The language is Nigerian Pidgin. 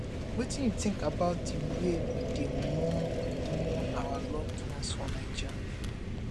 wetin you think about di way we dey mourn mourn our loved ones for naija